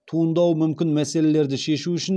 туындауы мүмкін мәселелерді шешу үшін